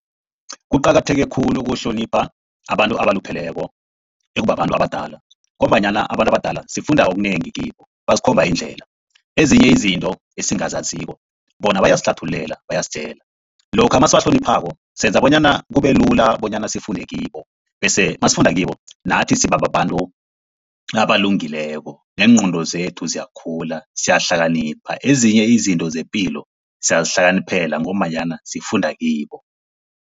Kuqakatheke khulu ukuhlonipha abantu abalupheleko ekubabantu abadala, ngombanyana abantu abadala sifunda okunengi kibo basikhomba indlela, ezinye izinto esingazaziko bona bayasihlathululela, bayasitjela. Lokha nasibahloniphako senza bonyana kube lula bonyana sifunde kibo, bese nasifunda kibo nathi siba babantu abalungileko neengqondo zethu ziyakhula siyahlakanipha, ezinye izinto zepilo siyazihlakaniphela ngombanyana sifunda kibo.